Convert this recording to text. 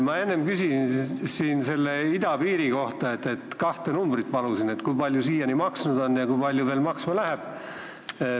Ma enne küsisin idapiiri kohta ja palusin kahte numbrit: kui palju see siiani maksnud on ja kui palju veel maksma läheb.